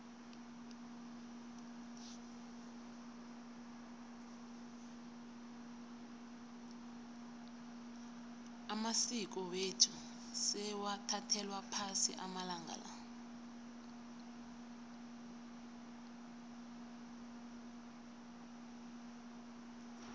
amasiko wethu sewathathelwa phasi amalanga la